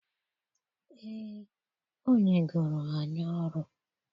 Ee, o nyegoro anyị ọrụ.